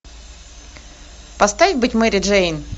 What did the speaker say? поставь быть мэри джейн